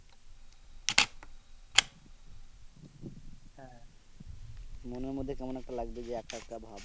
মনের মধ্যে কেমন একটা লাগবে যে একা একা ভাব